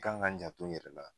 K'an ka n janto n yɛrɛ la.